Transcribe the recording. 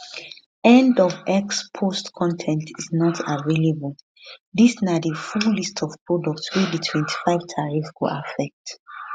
end of x post con ten t is not available dis na di full list of products wey di 25 tariff go affect